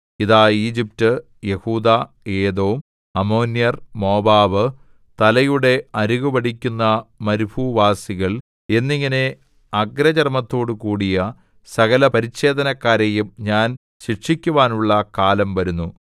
ഇതാ ഈജിപ്റ്റ് യെഹൂദാ ഏദോം അമ്മോന്യർ മോവാബ് തലയുടെ അരികു വടിക്കുന്ന മരുഭൂനിവാസികൾ എന്നിങ്ങനെ അഗ്രചർമ്മത്തോടുകൂടിയ സകല പരിച്ഛേദനക്കാരെയും ഞാൻ ശിക്ഷിക്കുവാനുള്ള കാലം വരുന്നു